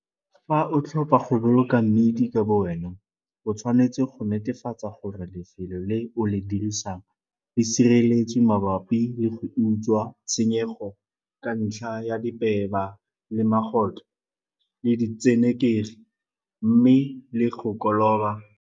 Fa o tlhopha go boloka mmidi ka bowena, o tshwanetse go netefatsa gore lefelo le o le dirisang le sireletswe mabapi le go utswa, tshenyego ka ntlha ya dipeba le magotlho le ditsenekegi mme le go koloba.